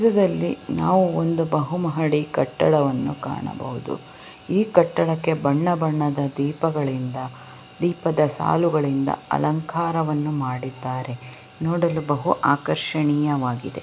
ಚಿತ್ರದಲ್ಲಿ ನಾವು ಒಂದು ಬಹು ಮಾಡಿ ಕಟ್ಟಡವನ್ನು ಕಾಣಬಹುದು ಈ ಕಟ್ಟಡಕ್ಕೆ ಬಣ್ಣ ಬಣ್ಣದ ದೀಪಗಳಿಂದ ದೀಪದ ಸಾಲುಗಳಿಂದ ಅಲಂಕಾರವನ್ನು ಮಾಡಿದರೆ ನೋಡಲು ಬಹು ಆಕರ್ಷಣೀಯವಾಗಿದೆ.